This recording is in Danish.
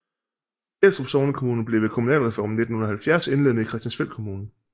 Fjelstrup sognekommune blev ved kommunalreformen i 1970 indlemmet i Christiansfeld Kommune